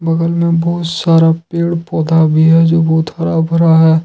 बगल में बहुत सारा पेड़ पौधा भी है जो बहुत हरा भरा है।